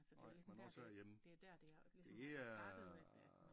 Ej men også herhjemme det er øh